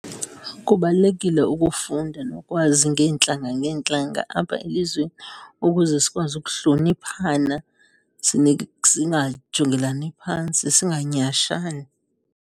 Kubalulekile ukufunda nokwazi ngeentlanga ngeentlanga apha elizweni ukuze sikwazi ukuhloniphana singajongelani phantsi, singanyhashani.